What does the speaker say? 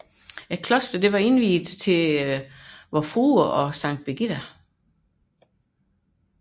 Klostret var indviet til Vor Frue og Sankt Birgitta